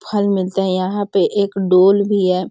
फल मिलते हैं यहाँ पे एक डोल भी है।